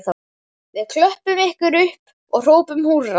Við klöppum ykkur upp og hrópum húrra